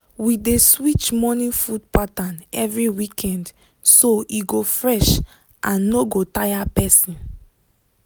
we dey switch morning food pattern every weekend so e go fresh and no go tire person.